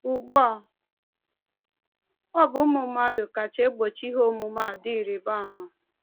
Ugbu a, ọ bụ ụmụ mmadụ kacha egbochi ihe omume a dị ịrịba ama.